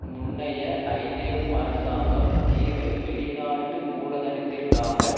முன்னைய ஐதேமு அரசாங்கம் தீவை வெளிநாட்டு மூலதனத்திற்காக